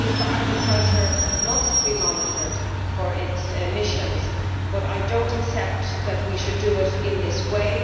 Agriculture must be monitored for its emissions, but I do not accept that we should do it in this way.